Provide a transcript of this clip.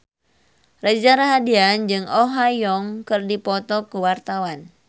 Reza Rahardian jeung Oh Ha Young keur dipoto ku wartawan